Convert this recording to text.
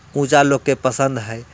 पूजा लोग के पसंद है।